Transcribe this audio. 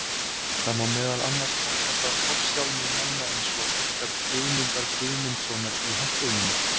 Það má meðal annars þakka það forsjálni manna eins og okkar Guðmundar Guðmundssonar í Hampiðjunni.